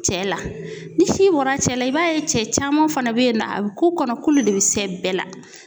Cɛ la ni si bɔra cɛ la i b'a ye cɛ caman fana be yen na a bɛ k'u kɔnɔ k'ulu de be sɛ bɛɛ la.